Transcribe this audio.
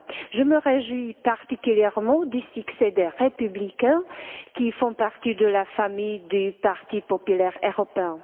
Je me réjouis particulièrement du succès des Républicains, qui font partie de la famille du parti populaire européen.